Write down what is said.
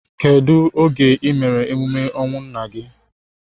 Kedu oge I mere emume ọnwụ nna gị?